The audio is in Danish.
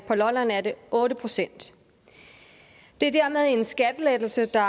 på lolland er det otte procent det er dermed en skattelettelse der